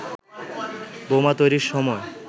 বোমা তৈরির সময়